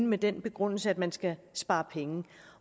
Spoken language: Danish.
med den begrundelse at man skal spare penge